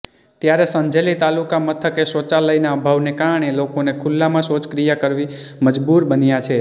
ત્યારે સંજેલી તાલુકા મથકે શૌચાલયના અભાવને કારણે લોકોને ખુલ્લામાં શૌચક્રિયા કરવા મુજબુર બન્યા છે